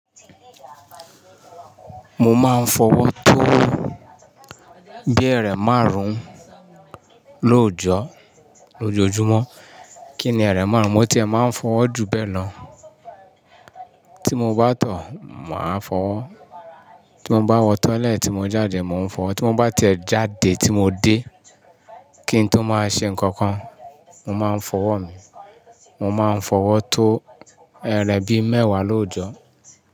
Mo máa ń fọwọ́ tó bíi ẹ máàrún-ún lóòjọ́, lójojúmọ́. Kí ni ẹrẹ márún-un? Mo tiẹ̀ máa ń fọwọ́ ju bẹ́ẹ̀ lọ. Tí mo bá tọ̀, màá fọwọ́. Tí mo bá wọ toilet, mo jáde mo ń fọ̀. Tí mo bá tiẹ̀ jáde tí mo dé kí n tó máa ṣe nǹkan kan, mo máa ń fọwọ́ mi. Mo máa ń fọwọ́ tó ẹrẹ bí mẹ́wàá lóòjọ́.